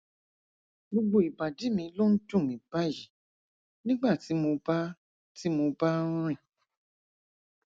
gbogbo ìbàdí mi ló ń dùn mí báyìí nígbà tí mo bá tí mo bá ń rìn